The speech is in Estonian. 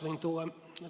Kohe lõpetan.